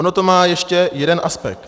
Ono to má ještě jeden aspekt.